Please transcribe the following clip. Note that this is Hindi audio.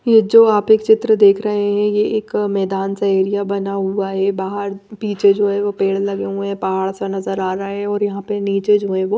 ये जो आप एक चित्र देख रहे हैं ये एक मैदान सा एरिया बना हुआ है बाहर पीछे जो है वो पेड़ लगे हुए हैं पहाड़ सा नजर आ रहा है और यहां पे नीचे जो है वो--